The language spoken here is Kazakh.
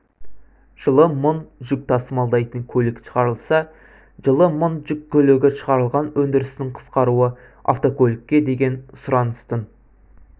жылы мың жүк тасымалдайтын көлік шығарылса жылы мың жүк көлігі шығарылған өндірістің қысқаруы автокөлікке деген сұраныстың